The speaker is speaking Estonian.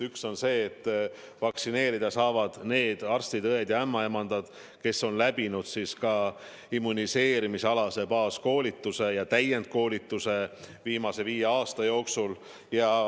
Üks on see, et vaktsineerida saavad need arstid-õed ja ämmaemandad, kes on läbinud ka immuniseerimisalase baaskoolituse ja täiendkoolituse viimase viie aasta jooksul.